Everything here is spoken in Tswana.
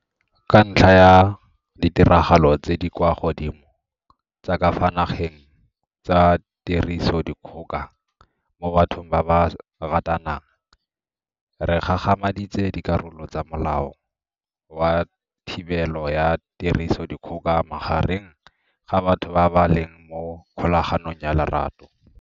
Ka ntlha ya ditiragalo tse di kwa godimo tsa ka fa nageng tsa tirisodikgoka mo bathong ba ba ratanang, re gagamaditse dikarolo tsa Molao wa Thibelo ya Tirisodikgoka Magareng ga Batho ba ba Leng mo Kgolaganong ya Lorato.